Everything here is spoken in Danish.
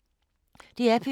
DR P2